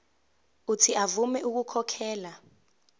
uuthi avume ukukhokhela